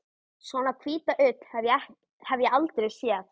Svona hvíta ull hef ég aldrei séð.